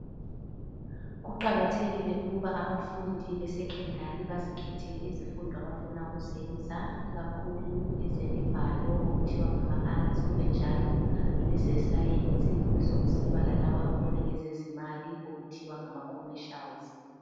Kuqakathekile ukuba abafundi beSekhondari bazikhethele izifundo abafuna ukuzenza ikakhulu ezemibhalo okuthiwa ngama"Arts",kube njalo leze"science" kube sokusiba lalabo ababona ngezezimali okuthiwa ngama "commercials"